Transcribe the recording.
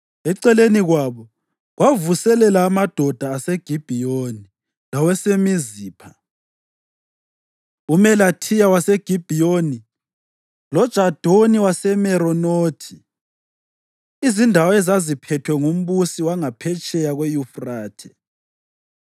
Eceleni kwabo, kwakuvuselela amadoda aseGibhiyoni lawaseMizipha, uMelathiya waseGibhiyoni loJadoni waseMeronothi, izindawo ezaziphethwe ngumbusi wangaphetsheya kweYufrathe.